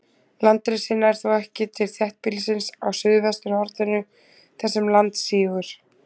Landrisið nær þó ekki til þéttbýlisins á suðvesturhorninu, þar sem land sígur.